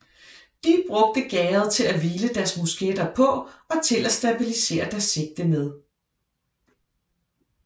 De brugte gærdet til at hvile deres musketter på og til at stabilisere deres sigte med